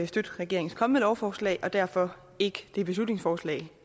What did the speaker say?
støtte regeringens kommende lovforslag og derfor ikke det beslutningsforslag